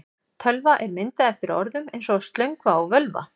Tölva er myndað eftir orðum eins og slöngva og völva.